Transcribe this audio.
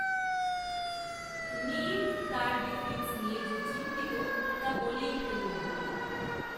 নঈম তাঁর ডিফেন্স নিয়ে যে চিন্তিত তা বলেই ফেললেন